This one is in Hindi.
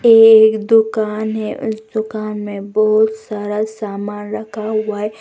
एक दुकान है उस दुकान में बहोत सारा सामान रखा हुआ है।